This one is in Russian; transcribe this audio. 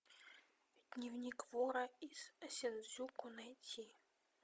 дневник вора из синдзюку найти